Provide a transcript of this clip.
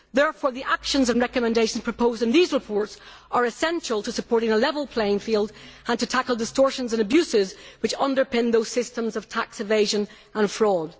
Therefore, the actions and recommendations proposed in these reports are essential to supporting a level playing field and to tackling the distortions and abuses which underpin those systems of tax evasion and fraud.